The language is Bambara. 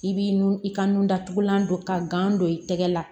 I b'i nun i ka nun datugulan don ka gan don i tɛgɛ la